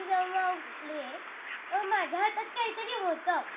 त्याचा कशी येवडा ते पडून टाकले त्यांनी फोडून टाकला हा चालणार का सकाडी उटबरोबर तर mobile हातात.